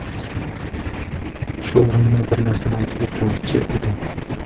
Shu o‘rinda bir narsani aytib o‘tmoqchi edim.